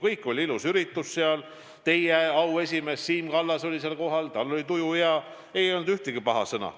Seal oli ilus üritus, teie auesimees Siim Kallas oli kohal, tal oli tuju hea, ei olnud öelda ühtegi paha sõna.